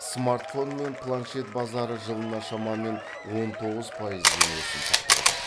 смартфон пен планшет базары жылына шамамен он тоғыз пайызбен өсім сақтауда